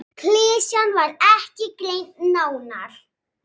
Klisjan var ekki greind nánar.